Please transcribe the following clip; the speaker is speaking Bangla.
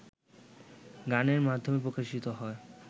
গানের মাধ্যমে প্রকাশিত হয়